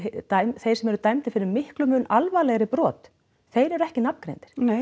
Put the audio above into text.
þeir sem eru dæmdir fyrir miklu mun alvarlegri brot þeir eru ekki nafngreindir nei